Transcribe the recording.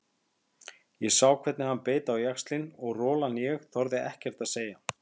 Ég sá hvernig hann beit á jaxlinn og rolan ég þorði ekkert að segja.